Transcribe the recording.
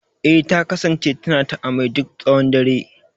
Eh, ta kasance tana ta amai duk tshawon dare.